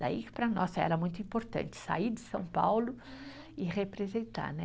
Daí que para nós era muito importante sair de São Paulo e representar, né.